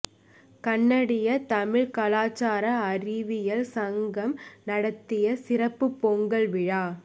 கனடிய தமிழ் கலாச்சார அறிவியல் சங்கம் நடத்திய சிறப்பு பொங்கல் விழா